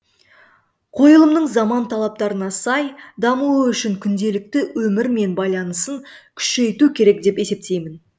қойылымның заман талаптарына сай дамуы үшін күнделікті өмірмен байланысын күшейту керек деп есептеймін